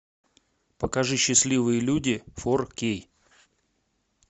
покажи счастливые люди фор кей